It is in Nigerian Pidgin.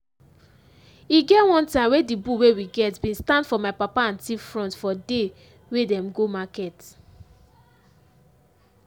e get one time wey the bull wey we get been stand for my papa and thief front for day wey them go market.